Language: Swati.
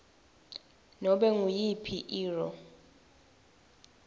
kunobe nguyiphi irro